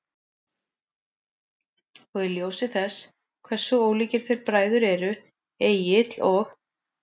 Og í ljósi þess hversu ólíkir þeir bræður eru, Egill og